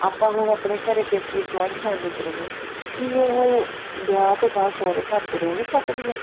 ਆਪਾਂ ਹੁਣ ਆਪਣੇ ਘਰੇ ਪੇਕੇ joint family ਚ ਰਹਿਨੇ ਆ ਕੀ ਉਹ ਵਿਆਹ ਤੋਂ ਬਾਅਦ ਸੋਹਰੇ ਘਰ ਚ ਰਹਿ ਨੀ ਸਕਦੀਆਂ